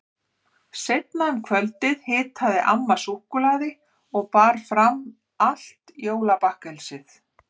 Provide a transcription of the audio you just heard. Seinna um kvöldið hitaði amma súkkulaði og bar fram allt jólabakkelsið.